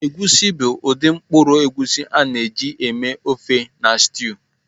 Egusi bụ ụdị mkpụrụ egusi a na-eji eme ofe na stew.